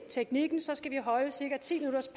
teknikken skal vi holde cirka ti minutters